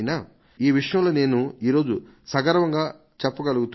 ఈ విషయంలో నేను ఈరోజు సగర్వంగా చెప్పగలుగుతున్నాను